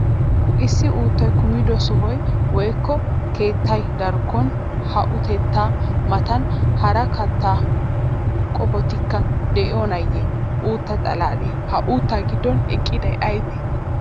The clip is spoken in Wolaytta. Issi uuttay kumido sohoy woykko keettaa darkkon ha uuttaa matan hara kattaa qoppotikka de'iyonaayye uutta xalaalee? Ha uuttaa giddon eqqiday aybee?